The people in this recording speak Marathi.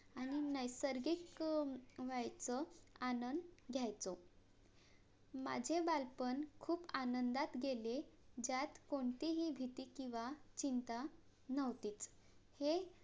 आणि नैसर्गिक अं व्हायचा आनंद घ्यायचो. माझे बालपण खूप आनंदात गेले ज्यात कोणतीही भीति किंवा चिंता न्हवतीच हे